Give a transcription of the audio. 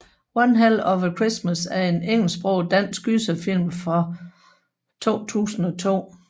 One Hell of a Christmas er en engelsksproget dansk gyserfilm fra 2002